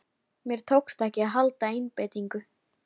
Mér tókst ekki að halda einbeitingunni.